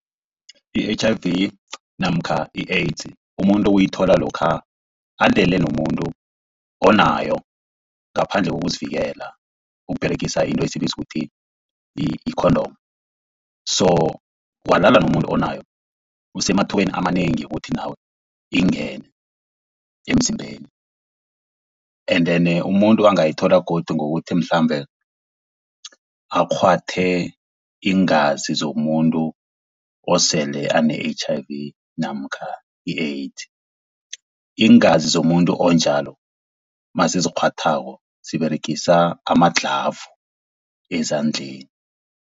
I-H_I_V namkha i-AIDS umuntu uyithola lokha alele nomuntu onayo ngaphandle kokuzivikela, ukUberegisa into esiyibiza kuthi i-condom. So walala nomuntu onayo usemathubeni amanengi wokuthi nawe ikungene emzimbeni. Endene umuntu angayithola godu ngokuthi mhlambe akghwathe iingazi zomuntu osele ane-H_I_V namkha i-AIDS. Iingazi zomuntu onjalo nasizikghwathako siberegisa ama-glove ezandleni.